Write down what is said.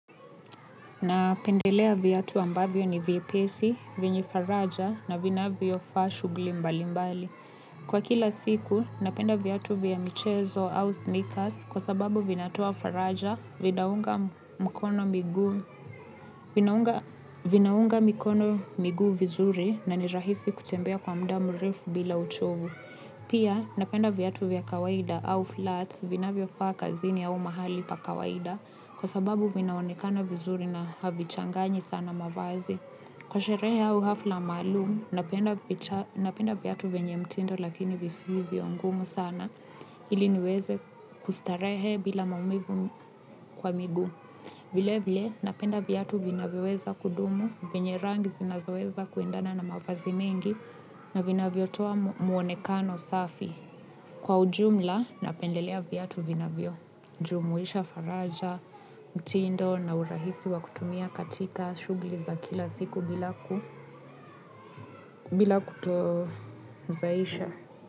Napendelea viatu ambavyo ni vyepesi, venye faraja na vinavyofaa shughuli mbali mbali. Kwa kila siku, napenda viatu vya michezo au sneakers kwa sababu vinatoa faraja vinaunga mikono miguu vizuri na ni rahisi kutembea kwa muda mrefu bila uchovu. Pia napenda viatu vya kawaida au flats vinavyofaa kazini au pahali pa kawaida kwa sababu vinaonekana vizuri na havichanganyi sana mavazi. Kwa sherehe au hafla maaumu napenda viatu venye mtindo lakini visivyo ngumu sana ili niweze kustarehe bila maumivu kwa miguu. Vile vile napenda viatu vinavyoweza kudumu, venye rangi zinazoweza kuendana na mavazi mengi na vinavyotoa muonekano safi. Kwa ujumla napendelea viyatu vinavyo, jumuisha faraja, mtindo na urahisi wa kutumia katika shughuli za kila siku bila kuto zaisha.